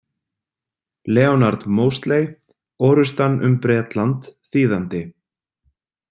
Leonard Mosley, Orrustan um Bretland, þýðandi